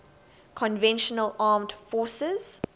conventional armed forces